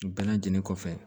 Bɛɛ lajɛlen kɔfɛ